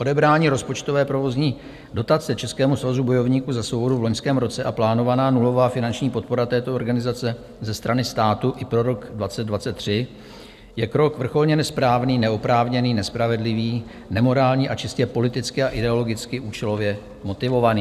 Odebrání rozpočtové provozní dotace Českému svazu bojovníků za svobodu v loňském roce a plánovaná nulová finanční podpora této organizace ze strany státu i pro rok 2023 je krok vrcholně nesprávný, neoprávněný, nespravedlivý, nemorální a čistě politicky a ideologicky účelově motivovaný.